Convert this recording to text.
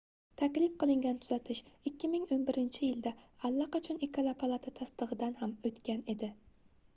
taklif qilingan tuzatish 2011-yilda allaqachon ikkala palata tasdigʻidan ham oʻtgan edi